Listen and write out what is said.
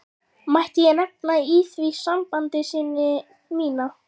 Mætti ég nefna í því sambandi syni mína.